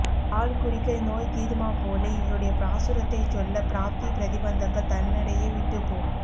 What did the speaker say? பால் குடிக்க நோய் தீருமா போலே இவருடைய பாசுரத்தைச் சொல்ல ப்ராப்தி பிரதிபந்தகங்கள் தன்னடையே விட்டுப் போம்